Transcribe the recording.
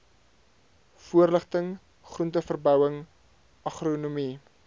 voorligting groenteverbouing agronomie